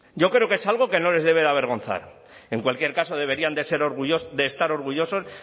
yo creo que es algo que no les debe avergonzar en cualquier caso deberían de ser de estar orgullosos